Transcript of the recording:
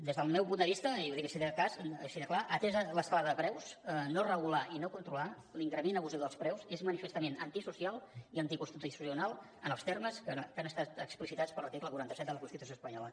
des del meu punt de vista i ho dic així de clar atesa l’escalada de preus no regular i no controlar l’increment abusiu dels preus és manifestament antisocial i anticonstitucional en els termes que han estat explicitats per l’article quaranta set de la constitució espanyola